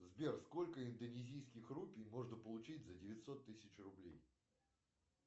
сбер сколько индонезийских рупий можно получить за девятьсот тысяч рублей